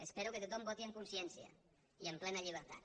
espero que tothom voti en consciència i en plena llibertat